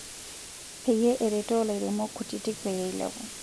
Peyie eretoo ilairemok kutitk peyie eilepu.